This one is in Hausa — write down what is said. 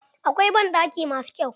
Akwai banɗaki ma su kyau.